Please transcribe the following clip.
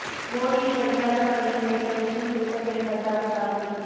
போடியில் படிக்காத மகனை மிரட்ட விஷம் குடித்த பெண் பரிதாப சாவு